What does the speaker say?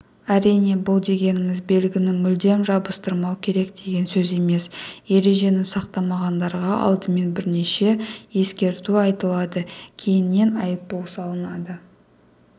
әрине бұл дегеніміз белгіні мүлдем жабыстырмау керек деген сөз емес ережені сақтамағандарға алдымен бірнеше ескерту айтылады кейіннен айыппұл салынады